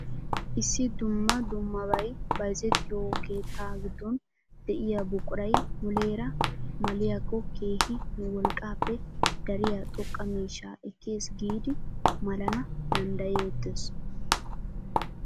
Issi dumma dummabay bayzzettiyo keettaa giddon de'iyaa buquray muleera maliyaakko keehi nu wolqqaappe dariyaa xoqqa miishshaa ekkes giidi malana danddayettees.